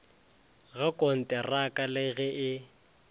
ga konteraka le ge e